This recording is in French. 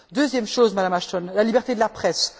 Deuxième chose, Madame Ashton, la liberté de la presse.